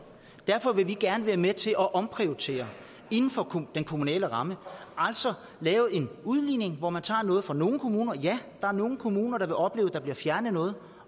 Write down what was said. derfor vil vi gerne være med til at omprioritere inden for den kommunale ramme altså lave en udligning hvor man tager noget fra nogle kommuner så ja der er nogle kommuner der vil opleve at der bliver fjernet noget